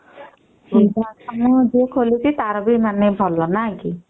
ବୃଦ୍ଧା ଆଶ୍ରମ ଯିଏ ଖୋଲିଚି ତାର ବି ମାନେ ଭଲ ନାଇଁ କି